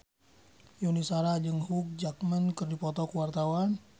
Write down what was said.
Yuni Shara jeung Hugh Jackman keur dipoto ku wartawan